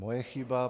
Moje chyba.